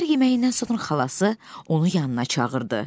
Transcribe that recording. Səhər yeməyindən sonra xalası onu yanına çağırdı.